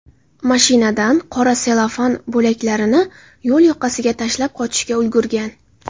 mashinadan qora sellofan bo‘laklarini yo‘l yoqasiga tashlab qochishga uringan.